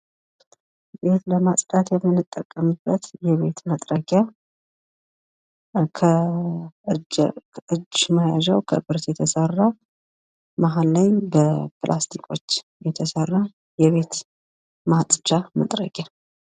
ቤት ለማጽዳት የምንጠቀምበት የቤት መጥረጊያ ሲሆን የእጅ መያዣው ከብረት የተሰራ እንዲሁም መሃል ላይ ከፕላስቲክ የተሰራ እና ለቤት ማጽጃነት የሚውል መጥረጊያ ነው።